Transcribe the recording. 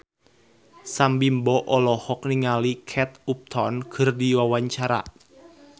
Sam Bimbo olohok ningali Kate Upton keur diwawancara